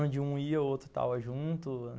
Onde um ia, o outro estava junto.